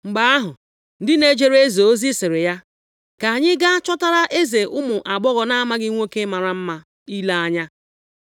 Mgbe ahụ, ndị na-ejere eze ozi sịrị ya, “Ka anyị gaa chọtara eze ụmụ agbọghọ na-amaghị nwoke mara mma ile anya.